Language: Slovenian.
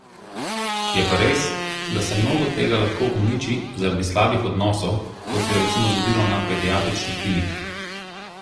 Je pa res, da se mnogo tega lahko uniči zaradi slabih odnosov, kot se je recimo zgodilo na pediatrični kliniki.